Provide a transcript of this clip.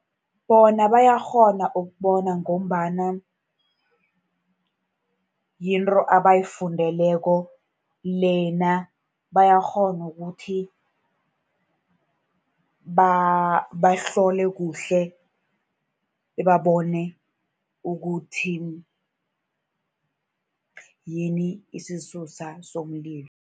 Bona bayakghona ukubona, ngombana yinto abayifundeleko lena, bayakghona ukuthi bahlole kuhle babone ukuthi yini isisusa somlilo.